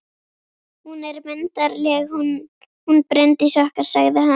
Hún er myndarleg, hún Bryndís okkar, sagði hann.